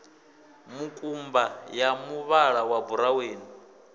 mukumba ya muvhala wa buraweni